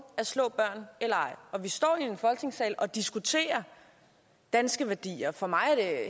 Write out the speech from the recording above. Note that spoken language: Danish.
at slå børn og vi står i folketingssalen og diskuterer danske værdier for mig er